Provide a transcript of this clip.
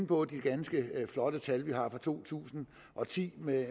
på de ganske flotte tal vi har for to tusind og ti med